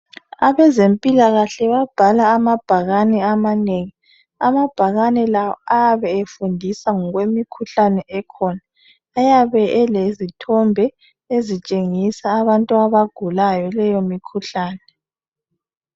Abezempilakahle babhala amabhakane amanengi. Amabhakane la ayabe efundisa ngokwemikhuhlane ekhona. Ayabe elezithombe ezitshengisa abantu abagulayo leyo mikhuhlane.